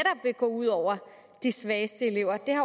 går ud over de svageste elever det